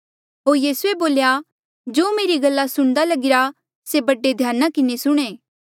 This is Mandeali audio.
होर यीसूए बोल्या जो मेरी गल्ला सुणदा लगीरा से बड़े ध्याना किन्हें सुणें